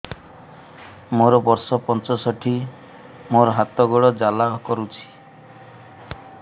ମୋର ବର୍ଷ ପଞ୍ଚଷଠି ମୋର ହାତ ଗୋଡ଼ ଜାଲା କରୁଛି